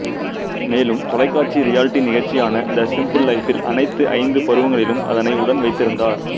மேலும் தொலைக்காட்சி ரியாலிட்டி நிகழ்ச்சியான த சிம்பிள் லைஃபில் அனைத்து ஐந்து பருவங்களிலும் அதனை உடன் வைத்திருந்தார்